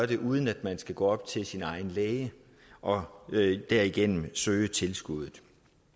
det uden at man skal gå op til sin egen læge og derigennem søge tilskuddet